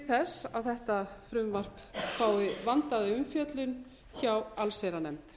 þess að þetta frumvarp fái vandaða umfjöllun hjá allsherjarnefnd